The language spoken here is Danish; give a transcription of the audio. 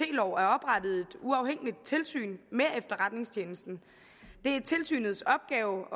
uafhængigt tilsyn med efterretningstjenesten det er tilsynets opgave